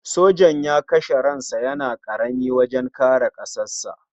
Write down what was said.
Sojan ya rasa ran sa yana karami wajen kare ƙasarsa.